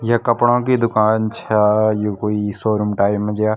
य कपड़ों की दूकान छा यु कोई शोरूम टाइप मा ज्या।